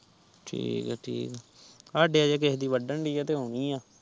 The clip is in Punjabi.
ਠੀਕ ਆ ਠੀਕ ਆ ਸਾਡੇ ਹਜੇ ਕਿਸੇ ਦੀ ਵਧਣ ਡਾ ਤੇ ਓਵੇਂ ਆ